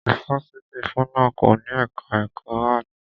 Ifáfitì FUNAB kò ní ẹka ẹ̀kọ́ áàtì.